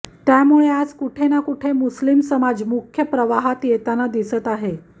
त्यामुळे आज कुठे ना कुठे मुस्लिम समाज मुख्य प्रवाहात येताना दिसत आहे